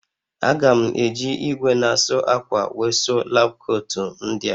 A ga m eji igwe na asụ akwa wee sụọ lab kootu ndịa